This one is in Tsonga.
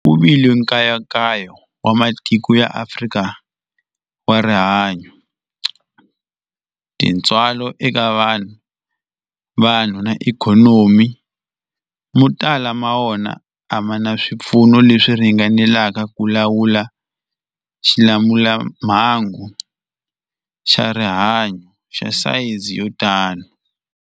Ku vile nkayakayo wa matiko ya Afrika wa rihanyu, tintswalo eka vanhu, vanhu na ikhonomi, mo tala ma wona a ma na swipfuno leswi ringaneleke ku lawula xilamulelamhangu xa rihanyu xa sayizi yo tani.